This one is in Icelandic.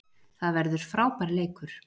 Það verður frábær leikur